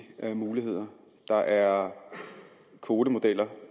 muligheder der er kvotemodeller